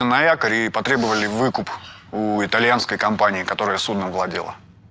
на якорь и потребовали выкуп у итальянской компании которая судном владела